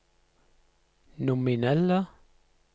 nominelle